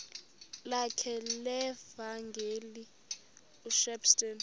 lakhe levangeli ushepstone